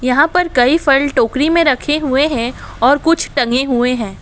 यहां पर कई फल टोकरी में रखे हुए हैं और कुछ टंगे हुए हैं।